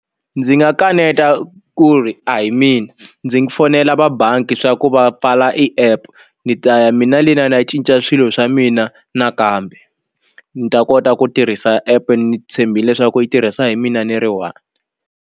Ndzi nga kaneta ku ri a hi mina ndzi fonela va bangi swa ku va i pfala app ni ta ya mina le ni ya na cinca swilo swa mina nakambe ni ta kota ku tirhisa app ni tshembile leswaku yi tirhisa hi mina ni ri one.